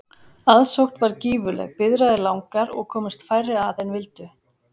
Aðsókn varð gífurleg, biðraðir langar og komust færri að en vildu.